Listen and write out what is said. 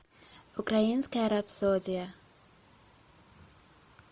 украинская рапсодия